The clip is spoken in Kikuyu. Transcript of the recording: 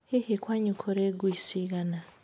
Hihi kwanyu kũrĩ ngui cigana?